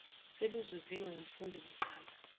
seluzuziwe ngumfundi kugqama